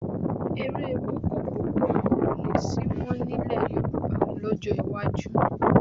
Eré bọ́ọ́kọbọ́ọ̀kọ kò ní sí mọ́ nílẹ̀ Yorùbá lọ́jọ́ iwájú